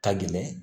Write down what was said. Ka gɛlɛn